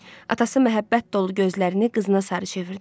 Atası məhəbbət dolu gözlərini qızına sarı çevirdi.